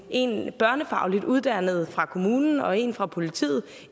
en børnefagligt uddannet fra kommunen og en fra politiet